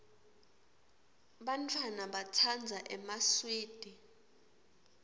bantfwana batsandza emaswidi